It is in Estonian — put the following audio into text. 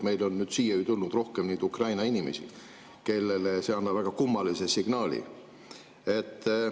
Meile on siia tulnud Ukraina inimesi, kellele see annab väga kummalise signaali.